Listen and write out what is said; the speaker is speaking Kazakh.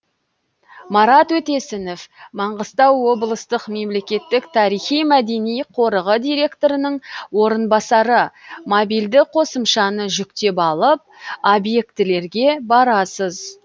марат өтесінов маңғыстау облыстық мемлекеттік тарихи мәдени қорығы директорының орынбасары мобильді қосымшаны жүктеп алып объектілерге барасыз